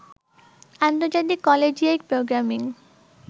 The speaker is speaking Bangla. আন্তর্জাতিক কলেজিয়েট প্রোগ্রামিং